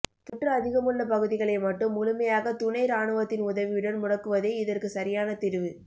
தொற்று அதிகமுள்ள பகுதிகளை மட்டும் முழுமையாக துணை ராணுவத்தின் உதவியுடன் முடக்குவதே இதற்கு சரியான தீர்வு